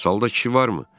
Salda kişi varmı?